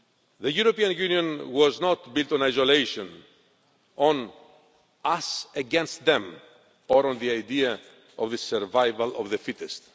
The European Union was not built on adulation, on us against them or on the idea of the survival of the fittest.